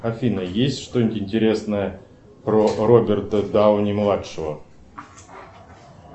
афина есть что нибудь интересное про роберта дауни младшего